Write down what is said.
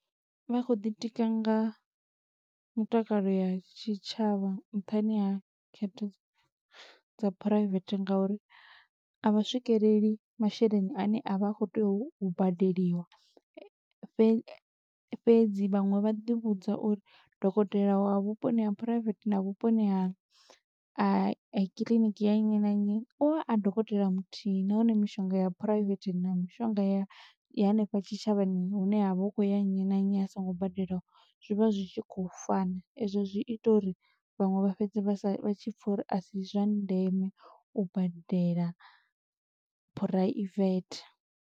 Vha khou ḓi tika nga mutakalo ya tshitshavha nṱhani ha khetha dza phuraivethe ngauri, a vha swikeleli masheleni ane a vha a khou tea u badeliwa. Fhedzi vhaṅwe vha ḓi vhudza uri dokotela wa vhuponi ha phuraivethe na vhuponi ha kiḽiniki ya nnyi na nnyi, u vha a dokotela muthihi. Nahone mishonga ya phuraivethe na mishonga ya i hanefha tshitshavhani hune havha hu khou ya nnyi na nnyi a songo badelaho, zwi vha zwi tshi khou fana. Ezwo zwi ita uri vhaṅwe vha fhedze vha sa, vha tshi pfa uri a si zwa ndeme u badela phuraivethe.